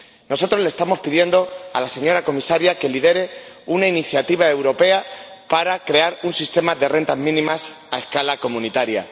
Nosotros le estamos pidiendo a la señora Comisaria que lidere una iniciativa europea para crear un sistema de rentas mínimas a escala comunitaria